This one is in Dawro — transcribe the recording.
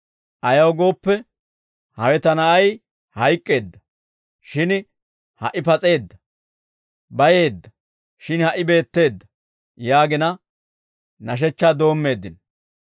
Ayaw gooppe, hawe ta na'ay hayk'k'eedda; shin ha"i pas'eedda; bayeedda; shin ha"i beetteedda› yaagina, nashechchaa doommeeddino.